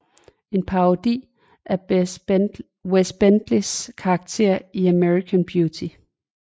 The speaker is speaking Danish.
En parodi af Wes Bentleys karakter i American Beauty